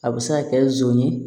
A bɛ se ka kɛ zo ye